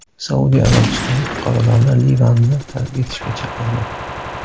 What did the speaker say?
Saudiya Arabistoni fuqarolarini Livanni tark etishga chaqirdi.